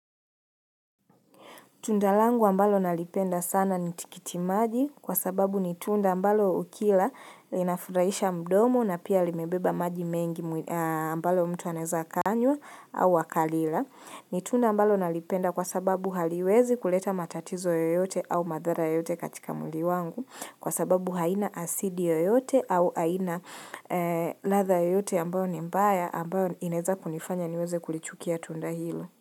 Tundalangu ambalo nalipenda sana nitikitimaji kwa sababu nitunda ambalo ukila inafuraisha mdomo na pia limebeba maji mengi ambalo mtu aneza kanywa au akalila. Nitunda ambalo nalipenda kwa sababu haliwezi kuleta matatizo yoyote au madhara yote katika mwili wangu kwa sababu haina asidi yoyote au haina ladha yote ambayo ni mbaya ambayo ineza kunifanya niweze kulichukia tundahilo.